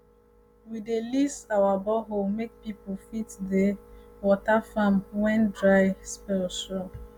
we dey lease our borehole make people fit dey um water farm when um dry spell show um